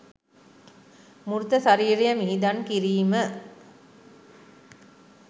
මෘත ශරීරය මිහිදන් කිරීම